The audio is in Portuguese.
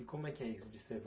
E como é que é isso de ser